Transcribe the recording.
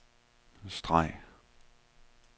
streg